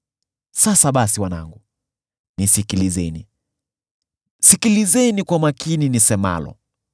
Sasa basi wanangu, nisikilizeni; sikilizeni kwa makini nisemalo.